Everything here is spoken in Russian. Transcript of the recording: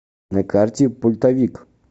на карте пультовик